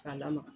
K'a lamaga